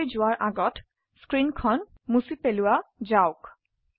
আগলৈ যোৱাৰ আগত স্ক্ৰীনখন মুছি পেলোৱাযাওক